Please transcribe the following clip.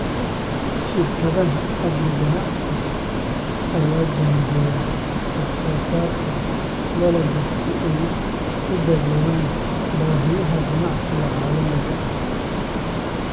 Shirkadaha Agri-ganacsiga ayaa jaangooya wax soo saarka dalagga si ay u daboolaan baahiyaha ganacsiga caalamiga ah.